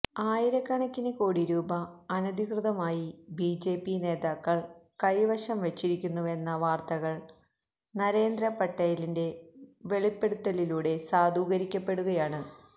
ആയിരക്കണക്കിന് കോടിരൂപ അനധികൃതമായി ബിജെപി നേതാക്കള് കൈവശം വച്ചിരിക്കുന്നുവെന്ന വാര്ത്തകള് നരേന്ദ്ര പട്ടേലിന്റെ വെളിപ്പെടുത്തലിലൂടെ സാധൂകരിക്കപ്പെടുകയാണ്